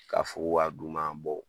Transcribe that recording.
Ka fo kun ka d'u ma